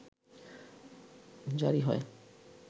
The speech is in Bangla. জারি হয়